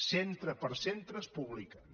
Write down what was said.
centre per centre es publiquen